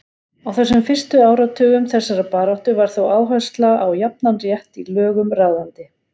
Á þessum fyrstu áratugum þessarar baráttu var þó áhersla á jafnan rétt í lögum ráðandi.